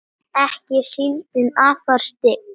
ekki er síldin afar stygg